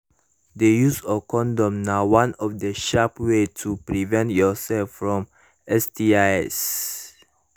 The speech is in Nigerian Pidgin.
the use of condom na of the sharp way to prevent your sef fromstis